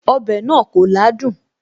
Ọbẹ̀ náà kò ládùn